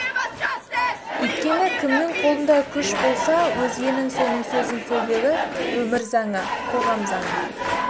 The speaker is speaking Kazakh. өйткені кімнің қолында күш болса өзгенің соның сөзін сөйлеуі өмір заңы қоғам заңы